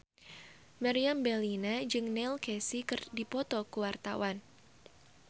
Meriam Bellina jeung Neil Casey keur dipoto ku wartawan